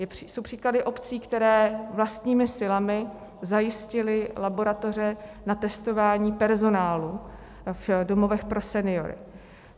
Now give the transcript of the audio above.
Jsou příklady obcí, které vlastními silami zajistily laboratoře na testování personálu v domovech pro seniory.